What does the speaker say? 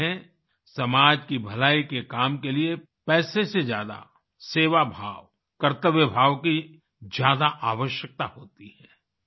कहते हैं समाज की भलाई के काम के लिए पैसे से ज्यादा सेवा भाव कर्तव्य भाव की ज्यादा आवश्यकता होती है